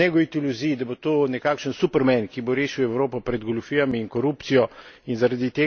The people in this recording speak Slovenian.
Mislim, da ne gojiti iluzij, da bo to nekakšen superman, ki bo rešil Evropo pred goljufijami in korupcijo.